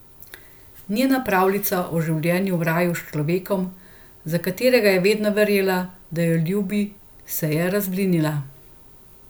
Njena pravljica o življenju v raju s človekom, za katerega je vedno verjela, da jo ljubi, se je razblinila.